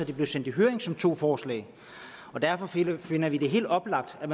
det blev sendt i høring som to forslag og derfor finder vi det helt oplagt at